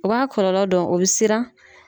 O b'a kɔlɔlɔ dɔn, o be siran.